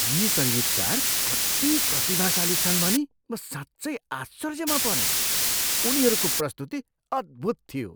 यी सङ्गीतकार कति प्रतिभाशाली छन् भनी म साँच्चै आश्चर्यमा परेँ। उनीहरूको प्रस्तुति अद्भुत थियो।